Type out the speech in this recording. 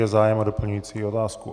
Je zájem o doplňující otázku?